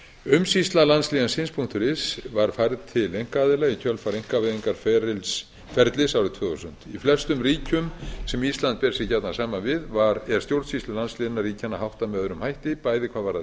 umsýsla landslénsins is var færð til einkaaðila í kjölfar einkavæðingarferlis árið tvö þúsund í flestum ríkjum sem ísland ber sig gjarnan saman við er stjórnsýslu landsléna ríkjanna háttað með öðrum hætti bæði háð varðar